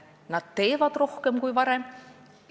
Nad teevad rohkem kui varem.